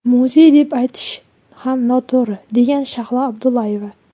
Muzey deb aytish ham noto‘g‘ri”, – degan Shahlo Abdullayeva.